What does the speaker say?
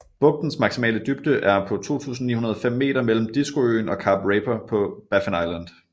Bugtens maksimale dybde er på 2905 m mellem Diskoøen og Kap Raper på Baffin Island